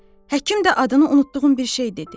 Həkim də adını unutduğum bir şey dedi.